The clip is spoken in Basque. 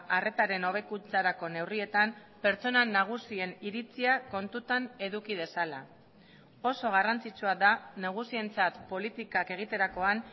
arretaren hobekuntzarako neurrietan pertsona nagusien iritzia kontutan eduki dezala oso garrantzitsua da nagusientzat politikak egiterakoan